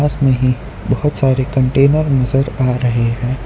इसमें ही बहोत सारे कंटेनर नज़र आ रहे है।